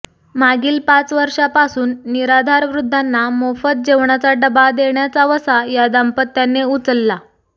मागील पाच वर्षांपासून निराधार वृद्धांना मोफत जेवणाचा डब्बा देण्याचा वसा या दाम्पत्याने उचलला